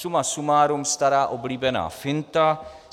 Suma sumárum, stará oblíbená finta.